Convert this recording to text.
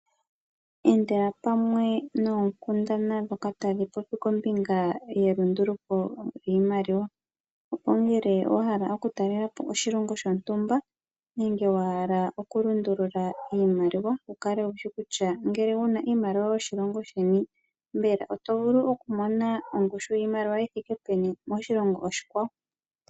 Endela pamwe noonkundana dhoka tadhi popi ngombinga yelundululo lyiimaliwa opo ngele owa hala okutalelapo oshilongo shontumba nenge wa hala okulundulula iimaliwa wukale wushi kutya ngele wuna iimaliwa yoshilongo sheni oto vulu okumona ongushu yiimaliwa yothike peni moshilongo oshikwawo.